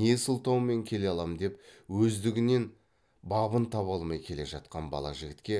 не сылтаумен келе алам деп өздігінен бабын таба алмай келе жатқан бала жігітке